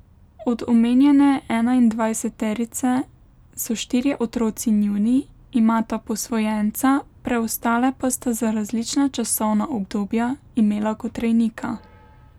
Od omenjene enaindvajseterice so štirje otroci njuni, imata posvojenca, preostale pa sta za različna časovna obdobja imela kot rejnika.